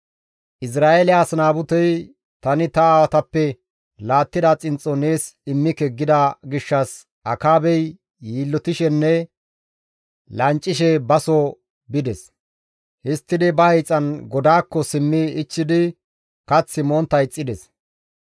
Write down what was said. Izra7eele as Naabutey, «Tani ta aawatappe laattida xinxxo nees immike» gida gishshas Akaabey yiillotishenne lanccishe ba soo bides. Histtidi ba hiixan godaakko simmi ichchidi kath montta ixxides.